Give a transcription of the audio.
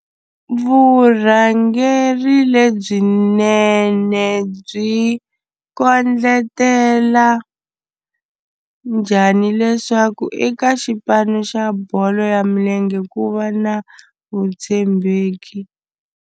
Vurhangeri lebyinene byi kondletela njhani leswaku eka xipano xa bolo ya milenge ku va na vutshembeki?